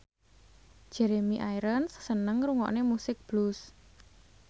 Jeremy Irons seneng ngrungokne musik blues